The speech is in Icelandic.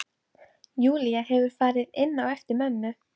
Júlía hefur farið inn á eftir mömmu.